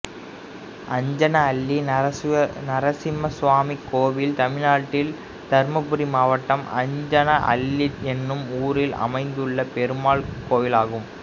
அஞ்சன அள்ளி நரசிம்மசாமி கோயில் தமிழ்நாட்டில் தர்மபுரி மாவட்டம் அஞ்சன அள்ளி என்னும் ஊரில் அமைந்துள்ள பெருமாள் கோயிலாகும்